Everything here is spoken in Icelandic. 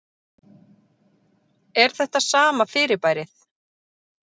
Er þetta sama fyrirbærið?